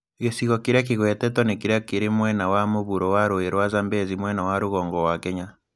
Gĩcigo kĩrĩa kĩgwetetwo nĩ kĩrĩa kĩrĩ mwena wa mũvuro wa rũũĩ rwa Zambezi mwena wa rũgongo wa Kenya.